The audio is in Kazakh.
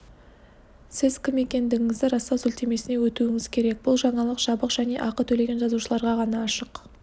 сіз кім екендігіңізді растау сілтемесіне өтуіңіз керек бұл жаңалық жабық және ақы төлеген жазылушыларға ғана ашық